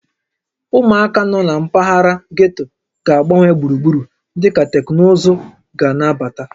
Ụmụaka nọ na mpaghara getto ga-agbanwe gburugburu dịka teknụzụ ga na-abata